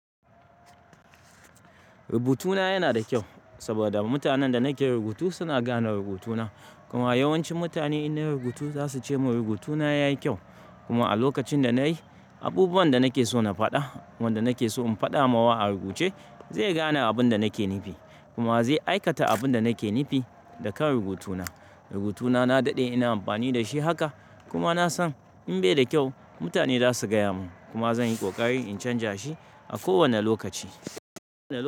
Rubutuna yana da kyau saboda mutanen da nake rubutu suna gane rubutuna. Kuma yawancin mutane in nayi rubutu za su ce mun rubutuna yayi kyau. Kuma a lokacin da na yi abubuwan da nake so na faɗa, wanda nake so in faɗa mawa a rubuce zai gane abun da nake nufi kuma zai aikata abun da nake nufi da kan rubutuna. Rubutuna na daɗe ina amfani da shi haka kuma na san in bai da kyau mutane za su gaya mun kuma zan yi ƙoƙari in canja shi a kowane lokaci.